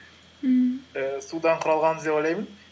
ммм ііі судан құралғанбыз деп ойлаймын